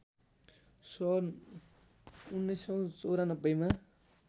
सन् १९९४ मा